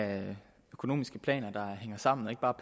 at have økonomiske planer der hænger sammen og ikke bare